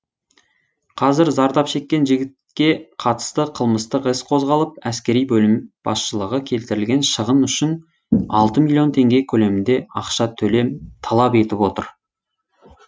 қазір зардап шеккен жігітке қатысты қылмыстық іс қозғалып әскери бөлім басшылығы келтірген шығын үшін алты миллион теңге көлемінде ақша талап етіп отыр